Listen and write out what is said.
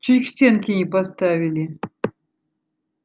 чуть к стенке не поставили